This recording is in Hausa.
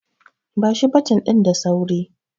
Bashi baton din da sauri!